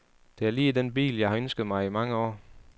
Det er lige den bil, jeg har ønsket mig i mange år.